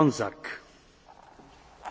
Szanowny Panie Przewodniczący!